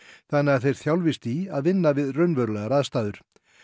þannig að þeir þjálfist í að vinna við raunverulegar aðstæður